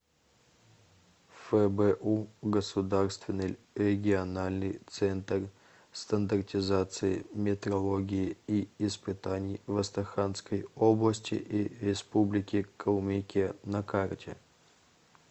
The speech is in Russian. фбу государственный региональный центр стандартизации метрологии и испытаний в астраханской области и республике калмыкия на карте